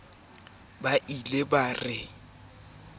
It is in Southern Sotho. ho ya ka botelele ba